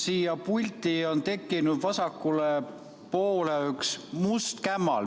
Siia pulti on tekkinud vasakule poole üks must kämmal.